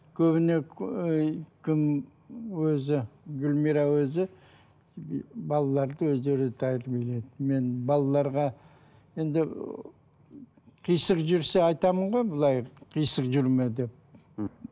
көбіне кім өзі гүлмира өзі балаларды өздері тәрбиеледі мен балаларға енді қисық жүрсе айтамын ғой былай қисық жүрме деп мхм